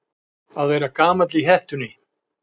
Að vera gamall í hettunni